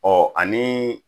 Ɔ ani